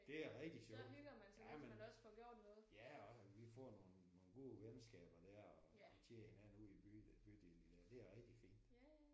Det er rigtig sjovt. Jamen ja og vi får nogle nogle gode venskaber der og og kender hinanden ude i by bydelen der det er rigtig fint